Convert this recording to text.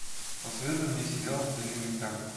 посоветуй мне сериал элементарно